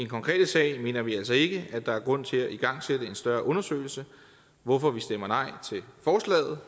konkrete sag mener vi altså ikke at der er grund til at igangsætte en større undersøgelse hvorfor vi stemmer nej til forslaget